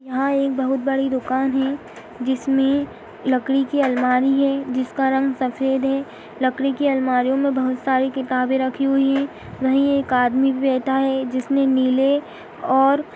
यहाँ एक बहुत बड़ी दुकान है जिसमें लकड़ी की अलमारी है जिसका रंग सफेद है | लकड़ी की अलमारियों में बोहोत सारी किताबें रखी हुई हैं वही एक आदमी बैठा है जिसने नीले और --